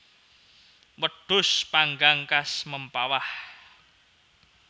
Wedhus panggang khas Mempawah